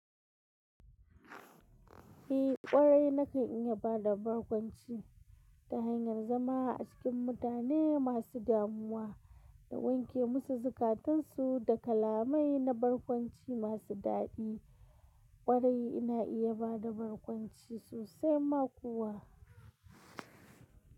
Ei ƙwarai na kan iya ba da barkwanci ta hanyar zama a cikin mutane masu damuwa da wanke musu zukatansu da kalamai na barkwanci masu daɗi. Ƙwarai ina iya ba da barkwanci sosai ma kuwa.